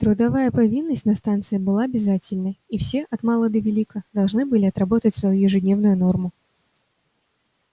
трудовая повинность на станции была обязательной и все от мала до велика должны были отработать свою ежедневную норму